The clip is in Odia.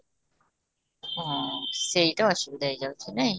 ହଁ, ସେଇଟା ଅସୁବିଧା ହେଇଯାଉଛି ନାଇଁ?